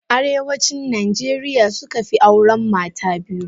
Arewacin najeriya suka fi auren mata biyu.